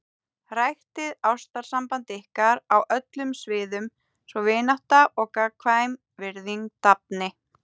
Ræktið ástarsamband ykkar á öllum sviðum svo vinátta og gagnkvæm virðing dafni.